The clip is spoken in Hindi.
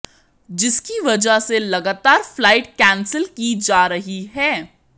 जिसकी वजह से लगातार फ्लाइट कैंसिल की जा रही है